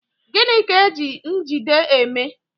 Gịnị ka eji njigide eme?